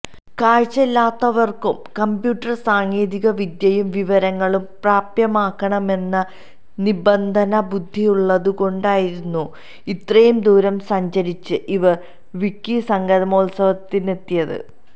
കാഴ്ചയില്ലാത്തവര്ക്കും computer സാങ്കേതിക വിദ്യയും വിവരങ്ങളും പ്രാപ്യമാകണമെന്ന നിര്ബന്ധ ബുദ്ധിയുള്ളതുകൊണ്ടായിരുന്നു ഇത്ര ദൂരം സഞ്ചരിച്ച് ഇവര് വിക്കി സംഗമോത്സവത്തിനെത്തിയത്